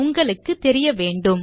உங்களுக்கு தெரிய வேண்டும்